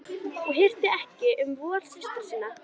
Og hirti ekki um vol systra sinna.